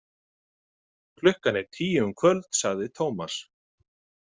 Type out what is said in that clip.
Klukkan er tíu um kvöld, sagði Tómas.